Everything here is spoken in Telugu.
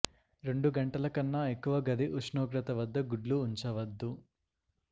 రెండు గంటల కన్నా ఎక్కువ గది ఉష్ణోగ్రత వద్ద గుడ్లు ఉంచవద్దు